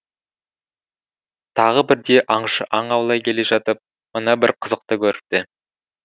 тағы бірде аңшы аң аулай келе жатып мына бір қызықты көріпті